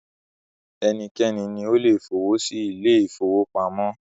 Ẹnikẹ́ni ni o le f'owọ sí ilé-ìfowópamọ́